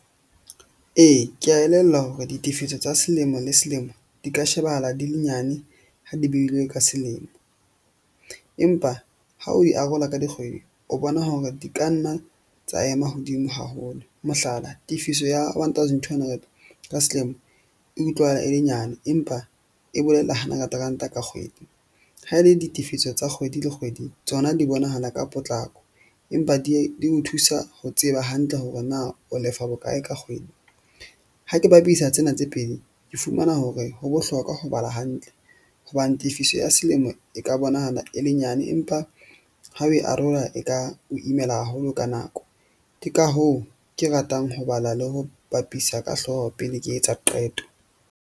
Ee, ke a elellwa hore ditefiso tsa selemo le selemo di ka shebahala di le nyane, ha di behilwe ka selemo. Empa ha o e arola ka dikgwedi, o bona hore di ka nna tsa ema hodimo haholo. Mohlala, tefiso ya one thousand two ka selemo e utlwahala e le nyane empa e bolela hundred ranta ka kgwedi. Ha e le ditifiso tsa kgwedi le kgwedi tsona di bonahala ka potlako. Empa di o thusa ho tseba hantle hore na o lefa bokae ka kgwedi. Ha ke bapisa tsena tse pedi ke fumana hore ho bohlokwa ho bala hantle hobane tefiso ya selemo e ka bonahala e le nyane, empa ha o e arola, e ka o imela haholo ka nako. Ke ka hoo ke ratang ho bala le ho bapisa ka hlooho pele ke etsa qeto.